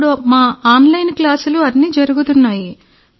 ఇప్పుడు మా ఆన్లైన్ క్లాసులు అన్నీ జరుగుతున్నాయి